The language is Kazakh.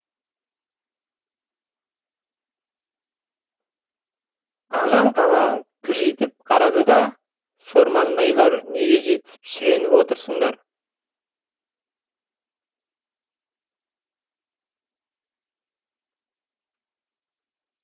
ағжан қабағын кіржитіп қарады да сормаңдайлар неге жетісіп шіреніп отырсыңдар